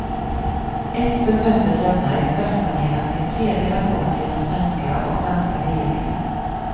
Efter mötet lämnar expertpanelen sin tredje rapport till den svenska och danska regeringen.